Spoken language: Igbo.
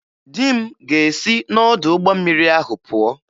Di m ga-esi n'ọdụ ụgbọ mmiri ahụ pụọ.